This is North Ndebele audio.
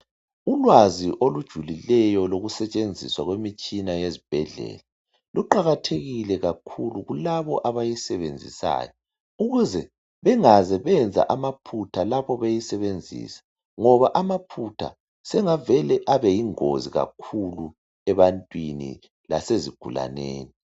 Ulwazi olujulileyo lokusetshenziswa kwemitshina yezibhedlela kuqakathekile kakhulu kulabo abayisebenzisayo, ukuze bengaze benza amaphutha lapho beyisebenzisa ngoba amaphutha sengavele abe yingozi kakhulu ebantwini lasezigulaneni.